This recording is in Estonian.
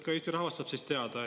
Ka Eesti rahvas sai teada.